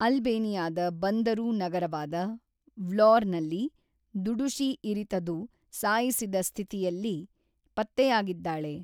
ಅಲ್ಬೇನಿಯಾದ ಬಂದರು ನಗರವಾದ ವ್ಲೋರ್‌ನಲ್ಲಿ ದುಡುಶಿ ಇರಿತದು ಸಾಯಿಸಿದ ಸ್ಥಿತಿಯಲ್ಲಿ ಪತ್ತೆಯಾಗಿದ್ದಾಳೆ.